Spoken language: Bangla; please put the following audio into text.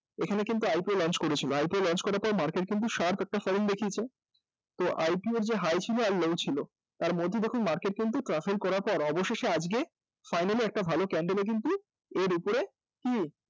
এখানে কিন্তু IPO launch করেছিল তারপর কিন্তু market sharp একটা fall দেখিয়েছে, তো IPO র যে high ছিল আর low ছিল তার মধ্যে দেখুন করার পর অবশেষে কিন্তু আজকে একটা ভালো candle এ কিন্তু এর উপরে